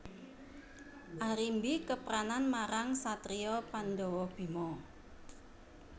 Arimbi kepranan marang satriya Pandhawa Bima